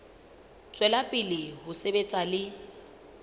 tswela pele ho sebetsa le